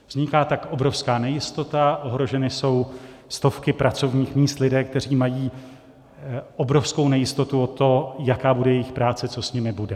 Vzniká tak obrovská nejistota, ohroženy jsou stovky pracovních míst, lidé, kteří mají obrovskou nejistotu o to, jaká bude jejich práce, co s nimi bude.